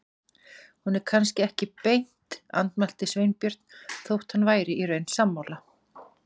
Hún er kannski ekki beint. andmælti Sveinbjörn, þótt hann væri í raun sammála.